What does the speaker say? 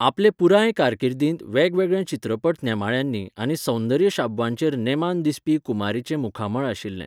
आपले पुराय कारकिर्दींत वेगवेगळ्या चित्रपट नेमाळ्यांनी आनी सौंदर्य शाबवांचेर नेमान दिसपी कुमारीचें मुखामळ आशिल्लें.